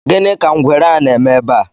Gini ka ngwere a na-eme ebe a?